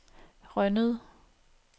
Rønnede